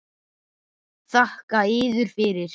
Þakka yður fyrir.